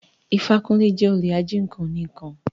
Ifákúnlé jẹ́ olè ají nǹkan oní ǹkan